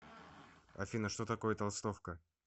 афина что такое толстовка